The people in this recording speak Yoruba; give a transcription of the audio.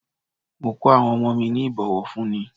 Mo ko awon omo mi ni ibowofunni.